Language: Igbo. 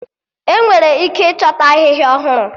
Enwere ike ịchọta Ahịhịa ọhụrụ